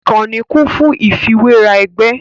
Ìkànnì kún fún ìfiwéra ẹgbẹ́